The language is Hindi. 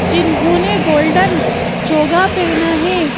जिन्होंने गोल्डन जोगा पहना है।